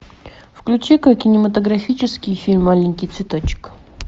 включи ка кинематографический фильм аленький цветочек